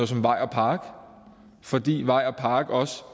som vej og park fordi vej og park også